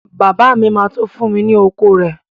Bàbá mi ma tó fún mi ni oko rẹ